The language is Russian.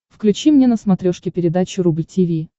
включи мне на смотрешке передачу рубль ти ви